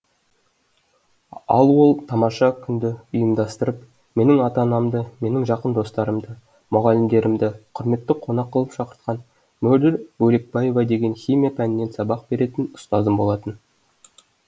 ал ол тамаша күнді ұйымдастырып менің ата анамды менің жақын достарымды мұғалімдерімді құрметті қонақ қылып шақыртқан мөлдір бөлекбаева деген химия пәнінен сабақ беретін ұстазым болатын